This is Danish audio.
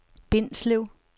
Bindslev